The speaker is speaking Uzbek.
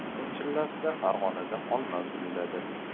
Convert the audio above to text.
Yoz chillasida Farg‘onada olma gulladi.